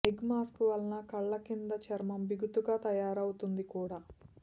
egg mask వల్ల కండ్ల కింద చర్మం బిగుతుగా తయారవుతుంది కూడా